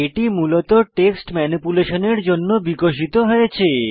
এটি মূলত টেক্সট ম্যানিপুলেশনের জন্য বিকশিত হয়েছে